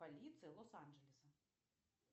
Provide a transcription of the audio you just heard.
полиция лос анджелеса